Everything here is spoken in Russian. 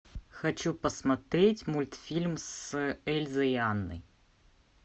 хочу посмотреть мультфильм с эльзой и анной